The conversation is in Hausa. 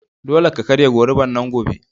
Dole ka karya gorubar nan gobe!